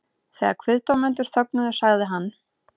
Þegar kviðdómendur þögnuðu sagði hann